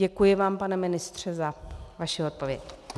Děkuji vám, pane ministře, za vaši odpověď.